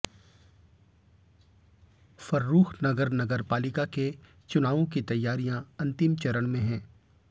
फर्रुखनगर नगरपालिका के चुनावों की तैयारियां अंतिम चरण में हैं